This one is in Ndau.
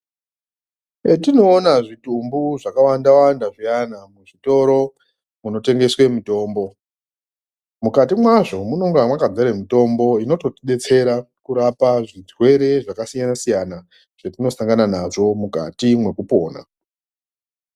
Petinoona zvitumbu zvakawanda wanda zviyana muzvitoro zvinotengeswe mitombo mukati mazvo munonga makazara mitombo inototi detsera kurapa zvirwere zvakasiyana siyana zvetinosangana nazvo mukati mwekupona.